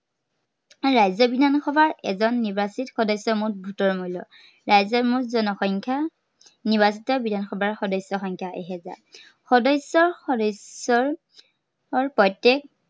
ৰাজ্য় বিধানসভাৰ এজন নিৰ্বাচিত সদস্য় মুঠ vote ৰ মূল্য়। ৰাজ্য়ৰ মুঠ জনসংখ্য়া নিৰ্বাচিত বিধানসভাৰ সদস্য়ৰ সংখ্য়া এহেজাৰ। সদস্য় সদস্য়ৰ, সৈতে